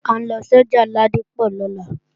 À ń lọ sọ́jà Ládípọ̀ lọ́la